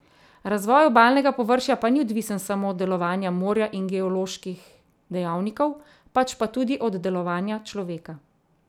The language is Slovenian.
Razvoj obalnega površja pa ni odvisen samo od delovanja morja in geoloških dejavnikov, pač pa tudi od delovanja človeka.